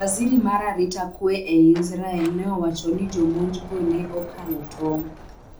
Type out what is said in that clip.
Waziri ma arita kwee ei Israel ne owacho ni jomonj go ne "okalo tong".